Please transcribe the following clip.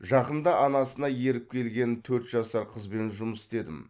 жақында анасына еріп келген төрт жасар қызбен жұмыс істедім